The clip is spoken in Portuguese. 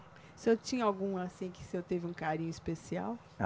O senhor tinha algum assim, que o senhor teve um carinho especial?